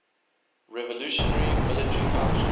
revolutionary military council